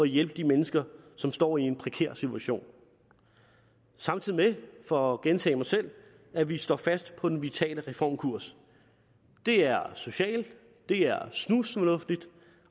hjælpe de mennesker som står i en prekær situation samtidig med for at gentage mig selv at vi står fast på den vitale reformkurs det er socialt det er snusfornuftigt